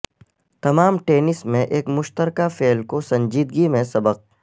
تمام ٹینس میں ایک مشترکہ فعل کو سنجیدگی میں سبق